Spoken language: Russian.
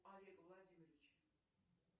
олег владимирович